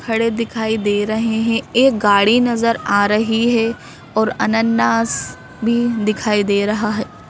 खड़े दिखाई दे रहे हैं एक गाड़ी नजर आ रही है और अन्ननास भी दिखाई दे रहा है।